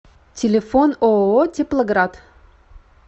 телефон ооо теплоград